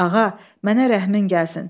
Ağa, mənə rəhmin gəlsin.